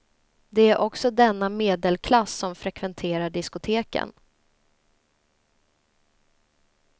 Det är också denna medelklass som frekventerar diskoteken.